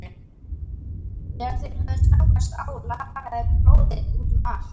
Þegar þeir höfðu stangast á lagaði blóð um allt andlit